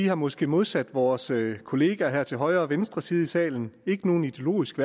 har måske modsat vores kolleger til højre og venstre side her i salen ikke nogen ideologiske